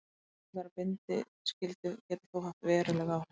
Breytingar á bindiskyldu geta þó haft veruleg áhrif.